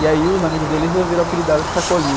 E aí os amigos dele resolveram apelidá-lo de Sacolinha.